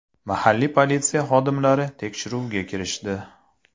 Mahalliy politsiya xodimlari tekshiruvga kirishdi.